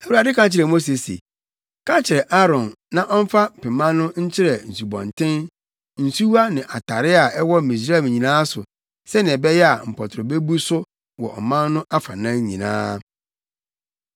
Awurade ka kyerɛɛ Mose se, “Ka kyerɛ Aaron na ɔmfa pema no nkyerɛ nsubɔnten, nsuwa ne atare a ɛwɔ Misraim nyinaa so sɛnea ɛbɛyɛ a, mpɔtorɔ bebu so wɔ ɔman no afanan nyinaa.”